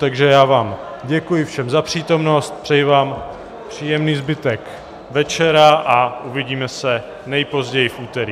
Takže já vám děkuji všem za přítomnost, přeji vám příjemný zbytek večera a uvidíme se nejpozději v úterý...